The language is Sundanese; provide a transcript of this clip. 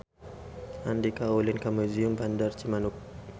Andika ulin ka Museum Bandar Cimanuk